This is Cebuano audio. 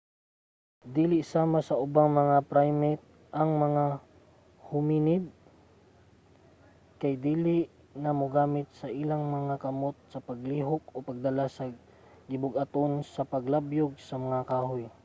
dili sama sa ubang mga primate ang mga hominid kay dili na mogamit sa ilang mga kamot sa paglihok o pagdala sa gibug-aton o paglabyog sa mga kahoy